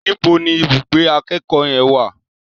Níbo ni ibùgbé akẹ́kọ̀ọ́ yẹn wà?